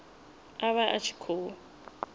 a vha a tshi khou